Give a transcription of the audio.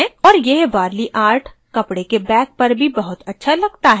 और यह warli art कपडे के bag पर भी बहुत अच्छा लगता है